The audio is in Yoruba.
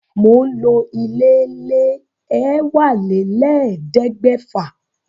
Mò ń lo ilé e èwálélẹ́ẹ̀ẹ́dẹ́gbẹ́fà